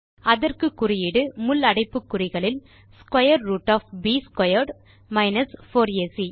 அதற்கு குறியீடு முள் அடைப்புக்குறிகளில் square root of b squared 4ஏசி